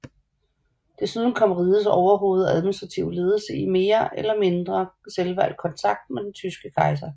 Desuden kom rigets overhoved og administrative ledelse i mere eller mindre selvvalgt kontakt med den tyske kejser